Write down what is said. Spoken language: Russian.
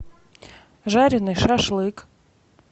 жареный шашлык